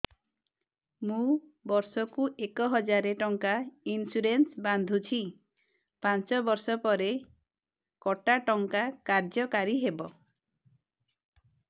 ମୁ ବର୍ଷ କୁ ଏକ ହଜାରେ ଟଙ୍କା ଇନ୍ସୁରେନ୍ସ ବାନ୍ଧୁଛି ପାଞ୍ଚ ବର୍ଷ ପରେ କଟା ଟଙ୍କା କାର୍ଯ୍ୟ କାରି ହେବ